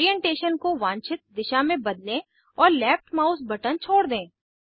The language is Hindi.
ओरीएन्टेशन को वांछित दिशा में बदलें और लेफ्ट माउस बटन छोड़ दें